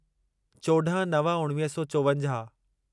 चोॾहं नव उणिवीह सौ चोवंजाहु